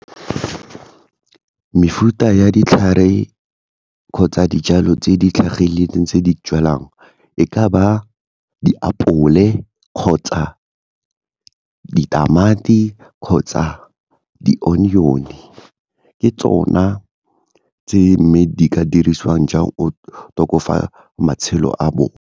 Mefuta ya ditlhare kgotsa dijalo tse di tlhagileng tse di jwalang e ka ba diapole kgotsa ditamati kgotsa di-onion-e, ke tsona tse mme di ka dirisiwang jang o matshelo a bone.